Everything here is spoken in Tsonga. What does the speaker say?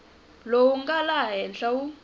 lowu nga laha henhla wu